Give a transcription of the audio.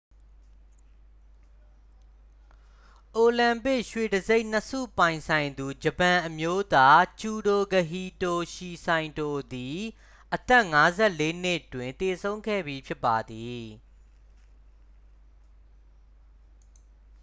အိုလံပစ် ရွှေတံဆိပ်နှစ်ဆုပိုင်ဆိုင်သူ ဂျပန်အမျိုးသား ဂျုဒိုကဟီတိုရှီစိုင်တို သည် အသက် 54 နှစ်တွင် သေဆုံးခဲ့ပြီဖြစ်ပါသည်